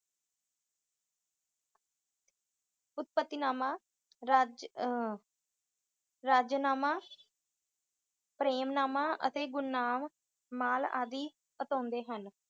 ਉਤਪਤੀਨਾਮਾ, ਰਜ ਅਮ ਗਰਜਨਾਮਾ, ਪ੍ਰੇਮ ਨਾਮਾ ਤੇ ਗੁਣਨਾਮ ਮਾਲ ਆਦਿ ਆਉਤਂਦੇ ਹਨ